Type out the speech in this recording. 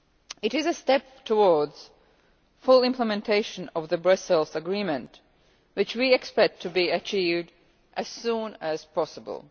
This is a step towards full implementation of the Brussels Agreement, which we expect to be achieved as soon as possible.